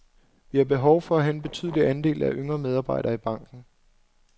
Vi har behov for at have en betydelig andel af yngre medarbejdere i banken.